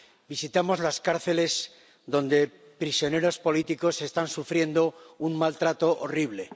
Visitamos las cárceles donde prisioneros políticos están sufriendo un maltrato horrible.